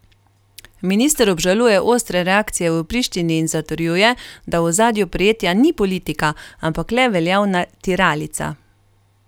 Minister obžaluje ostre reakcije v Prištini in zatrjuje, da v ozadju prijetja ni politika, ampak le veljavna tiralica.